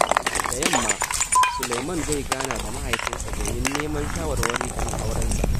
Da yamma, Sulaiman zai gana da mahaifinsa domin neman shawarwari kan aurensa.